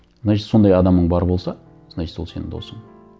значит сондай адамың бар болса значит ол сенің досың